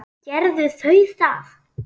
Gerðu þau það.